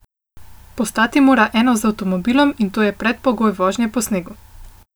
Postati mora eno z avtomobilom in to je predpogoj vožnje po snegu.